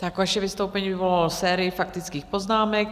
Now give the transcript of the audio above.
Tak vaše vystoupení vyvolalo sérii faktických poznámek.